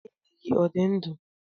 Nne dị gị ọ dị ndụ?